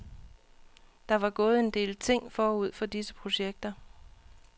Der var gået en del ting forud for disse projekter.